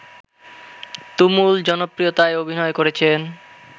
তুমুল জনপ্রিয়তায় অভিনয় করেছেন